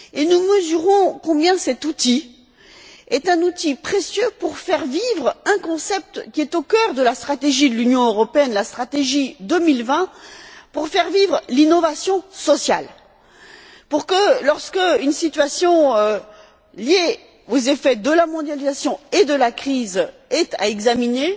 Nous mesurons combien cet outil est un outil précieux pour faire vivre un concept qui se trouve au cœur de la stratégie de l'Union européenne, la stratégie Europe 2020, pour faire vivre l'innovation sociale de manière que, lorsqu'une situation liée aux effets de la mondialisation et de la crise est à examiner,